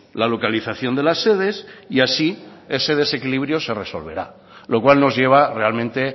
la localización de las sedes y así ese desequilibrio se resolverá lo cual nos lleva realmente